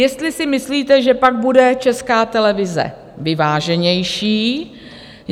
Jestli si myslíte, že pak bude Česká televize vyváženější?